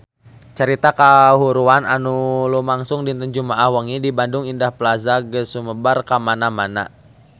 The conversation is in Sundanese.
Carita kahuruan anu lumangsung dinten Jumaah wengi di Bandung Indah Plaza geus sumebar kamana-mana